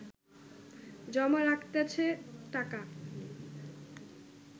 জমা রাখতাছে টাকা